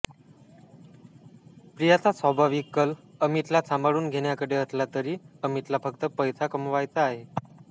प्रियाचा स्वाभाविक कल अमितला सांभाळून घेण्याकडे असला तरी अमितला फक्त पैसा कमवायचा आहे